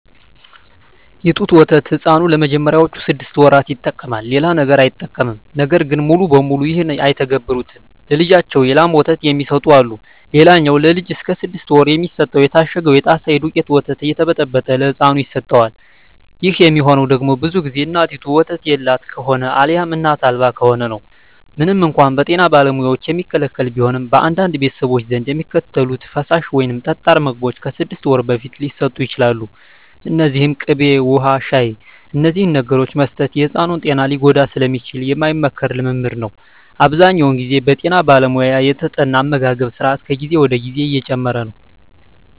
የጡት ወተት ሕፃኑ ለመጀመሪያዎቹ ስድስት ወራት ይጠቀማል። ሌላ ነገር አይጠቀምም። ነገር ግን ሙሉ በሙሉ ይህን አይተገብሩትም። ለልጃቸው የላም ወተት የሚሰጡ አሉ። ሌላኛው ለልጅ እስከ ስድስት ወር የሚሰጠው የታሸገው የጣሳ የደውቄቱ ወተት እየተበጠበጠ ለህፃኑ ይሰጠዋል። ይህ የሚሆነው ደግሞ ብዙ ግዜ እናቲቱ ወተት የላት ከሆነ አልያም እናት አልባ ከሆነ ነው። ምንም እንኳን በጤና ባለሙያዎች የሚከለከል ቢሆንም፣ በአንዳንድ ቤተሰቦች ዘንድ የሚከተሉት ፈሳሽ ወይም ጠጣር ምግቦች ከስድስት ወር በፊት ሊሰጡ ይችላሉ። እነዚህም ቅቤ፣ ውሀ፣ ሻሂ…። እነዚህን ነገሮች መስጠት የሕፃኑን ጤና ሊጎዳ ስለሚችል የማይመከር ልምምድ ነው። አብዛኛውን ግዜ በጠና ባለሙያ የተጠና አመጋገብ ስራት ከጊዜ ወደ ጊዜ እየጨመረ ነው።